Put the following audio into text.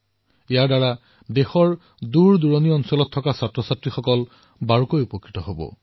ইয়াৰ দ্বাৰা দেশৰ দূৰদুৰণিৰ শিক্ষাৰ্থীসকলো উপকৃত হব